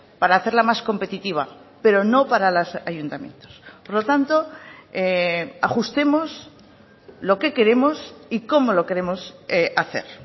para hacerla más competitiva pero no para los ayuntamientos por lo tanto ajustemos lo que queremos y cómo lo queremos hacer